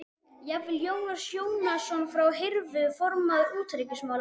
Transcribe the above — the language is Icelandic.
Jafnvel Jónas Jónsson frá Hriflu, formaður utanríkismálanefndar